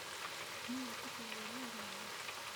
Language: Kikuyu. Nĩũgwĩtĩkĩra wĩra ũyũ mwerũ?